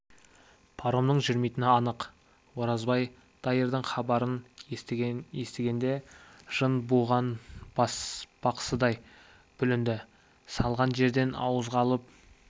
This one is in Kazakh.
паромның жүрмейтіні анық оразбай дайырдың хабарын естігенде жын буған бақсыдай бүлінді салған жерден ауызға алып